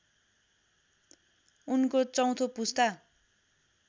उनको चौथो पुस्ता